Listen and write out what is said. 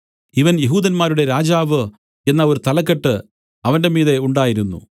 ഇവൻ യെഹൂദന്മാരുടെ രാജാവ് എന്നു ഒരു തലക്കെട്ട് അവന്റെ മീതെ ഉണ്ടായിരുന്നു